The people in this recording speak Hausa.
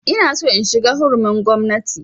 Ina so in shiga hurumin gwamnati